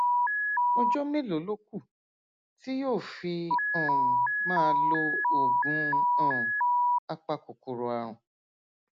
ọjọ mélòó ló kù tí yóò fi um máa lo oògùn um apakòkòrò ààrùn